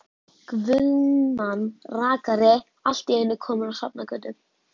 Guðmann rakari allt í einu kominn á Sjafnargötu.